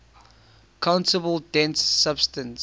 countable dense subset